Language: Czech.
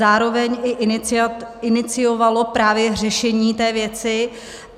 Zároveň i iniciovalo právě řešení této věci.